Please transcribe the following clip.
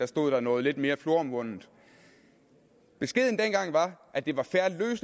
stod der noget lidt mere floromvundent beskeden dengang var at det var